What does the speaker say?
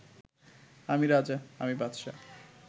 আমি রাজা, আমি বাদশাহ